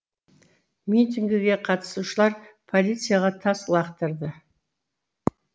митингіге қатысушылар полицияға тас лақтырды